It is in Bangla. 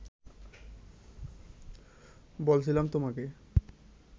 বলছিলাম তোমাকে